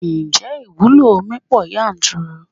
Ǹjẹ́ ìwúlò omi pọ yanturu?